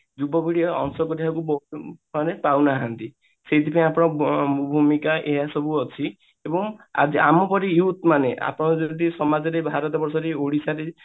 ଯୁବପିଢି ଏବେ ବୋଧେ ବହୁତ ଉଁ ମାନେ ପାଉନାହାନ୍ତି ସେଇଥିପାଇଁ ଭୂମିକା ଏଇଆ ସବୁ ଅଛି ଏବଂ ଆମ ପରି youth ମାନେ ଆପଣ ଯଦି ସମାଜରେ ଭାରତ ବର୍ଷରେ ଓଡିଶାରେ